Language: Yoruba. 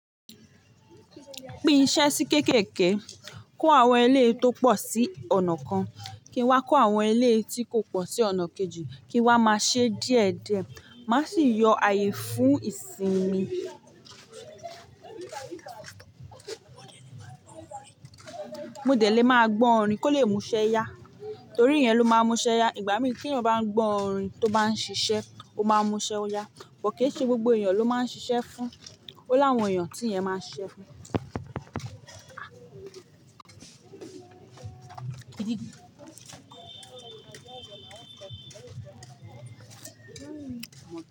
Pín iṣẹ́ sí kéékèèké. Kó àwọn eléyìí tó pọ̀ sí ọ̀nà kan, kí n wá kó àwọn eléyìí tí kò pọ̀ sí ọ̀nà kejì, kí n wá máa ṣe díẹ̀-díẹ̀. Má sì yọ ààyè fún ìsinmi. Mo dẹ̀ lé máa gbọ́ orin kó le muṣẹ́ yá. Torí iyẹn ló máa ń muṣẹ yá. Ìgbà mí tí èèyàn ba ń gbọ́ orin tó bá ń ṣiṣẹ́, ó máa muṣẹ yá. Bọ̀ káì ṣe gbogbo èèyàn ló máa ń ṣiṣẹ́ fún. Ó l'áwọn èèyàn tí ìyẹn máa ń ṣiṣẹ́ fún.